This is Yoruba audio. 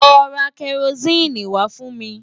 Lọ ra kẹrosíìnì wá fún mi!